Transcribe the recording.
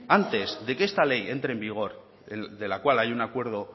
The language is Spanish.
antes de que esta ley entre en vigor de la cual hay un acuerdo